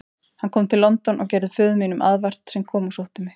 Hann kom til London og gerði föður mínum aðvart, sem kom og sótti mig.